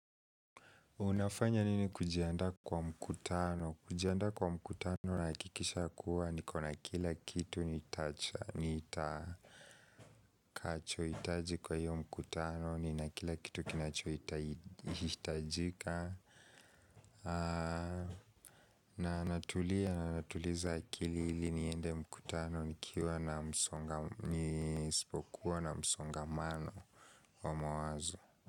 Unafanya nini kujiandaa kwa mkutano? Kujiandaa kwa mkutano nahakikisha kuwa niko na kila kitu nitacha, nitakachohitaji kwa hiyo mkutano, nina kila kitu kinachohitajika natulia na natuliza akili ili niende mkutano nikiwa na msonga, nisipokuwa na msongamano wa mawazo.